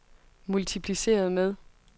multipliceret med